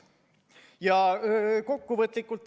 Ja kokkuvõtlikult.